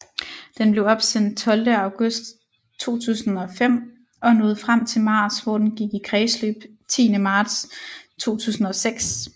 Den blev opsendt 12 august 2005 og nåede frem til Mars hvor den gik i kredsløb 10 marts 2006